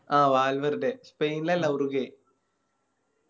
ആ വാൽവേര്ഡ് സ്പെയിനിൽ അല്ല ഉറുഗ്വ